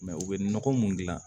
u bɛ nɔgɔ mun dilan